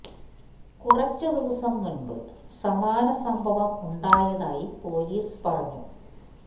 കുറച്ച് ദിവസം മുന്പ് സമാന സംഭവം ഉണ്ടായതായി പോലീസ് പറഞ്ഞു